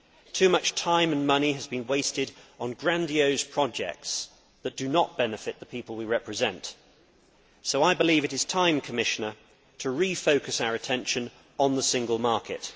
Too much time and money has been wasted on grandiose projects that do not benefit the people we represent. I believe it is time to refocus our attention on the Single Market.